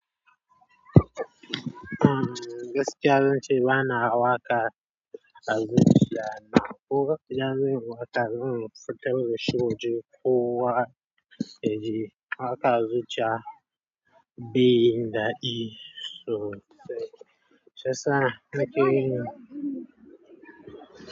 Umm, gaskiya zan ce bana waƙa a zuciya amma ko da zan yi waƙa zan yi futar da shi waje ko waƙa, waƙa a zuciya be yin dadi, so shiyasa na ke yin.